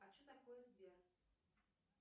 а что такое сбер